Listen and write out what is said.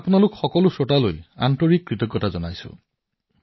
মই আপোনালোক সকলো শ্ৰোতাৰ এই চিন্তাক প্ৰশংসা কৰিছো